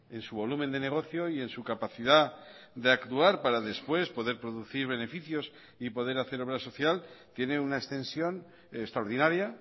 en su volumen de negocio y en su capacidad de actuar para después poder producir beneficios y poder hacer obra social tiene una extensión extraordinaria